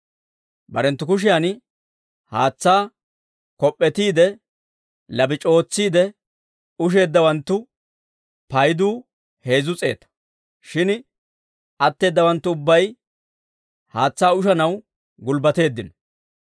Barenttu kushiyan haatsaa kop'p'etiide labac'i ootsiide usheeddawanttu paydu heezzu s'eeta; shin atteedawanttu ubbay haatsaa ushanaw gulbbateeddino.